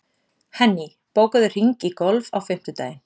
Henný, bókaðu hring í golf á fimmtudaginn.